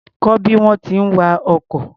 Kọ́ bí wọ́n ti ń wa ọkọ̀.